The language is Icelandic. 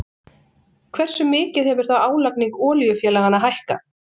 Hversu mikið hefur þá álagning olíufélaganna hækkað?